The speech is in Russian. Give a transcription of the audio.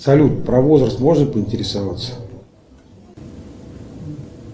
салют про возраст можно поинтересоваться